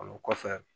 O kɔfɛ